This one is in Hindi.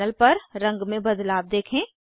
पैनल पर रंग में बदलाव देखें